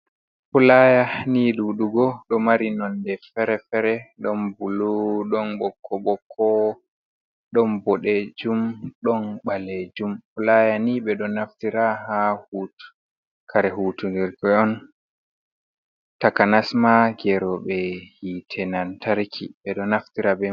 Pulaaya nii ɗuɗugo ɗo mari nonde fere-fere ɗon bulu ɗon ɓokko-ɓokko, ɗon bodejum ɗon ɓalejum. Pulaya ni ɓe ɗo naftira ha hud kaare hutunirgo on, takanas ma geero ɓe hiite nantarki ɓe ɗo naftira be mai.